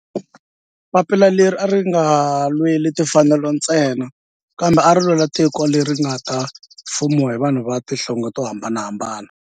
Papila leri a ri nga lweli timfanelo ntsena kambe ari lwela tiko leri nga ta fumiwa hi vanhu va tihlonge to hambanahambana.